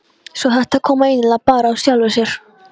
Svo þetta kom eiginlega bara af sjálfu sér.